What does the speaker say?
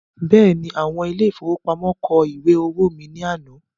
Bẹ́ẹ̀ni, àwọn ile-ìfowópamó kọ ìwé owó mí ní àná